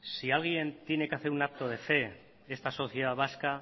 si alguien tiene que hacer un acto de fe de esta sociedad vasca